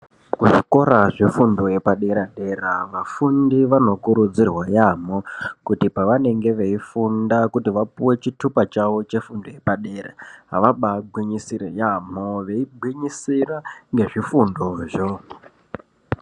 Kuzvikora zvefundo yepadera dera vafundi vanokurudzirwa yambo kuti pavanenge veifunda kuti vapuwe chitupa chavo chefundo yepadera vabagwinyisire yambo veigwinyisire ngezvifundozvo.